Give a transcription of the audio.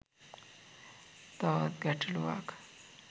තවත් ගැටළුවක්.